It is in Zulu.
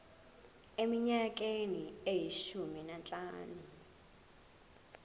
eminyakeni eyishumi nanhlanu